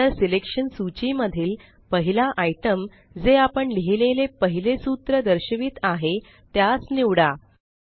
नंतर सिलेक्शन सूची मधील पहिला आइटम जे आपण लिहिलेले पहिले सूत्र दर्शवित आहे त्यास निवडा